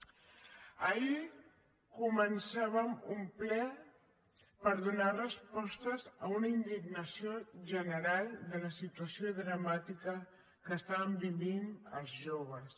ahir començàvem un ple per donar respostes a una indignació general de la situació dramàtica que estan vivint els joves